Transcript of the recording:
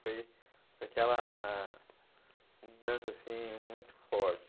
Foi aquela mudança assim, muito forte.